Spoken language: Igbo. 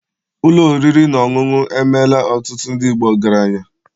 Ụlọ oriri na ọṅụṅụ emeela ọtụtụ ndị Igbo ọgaranya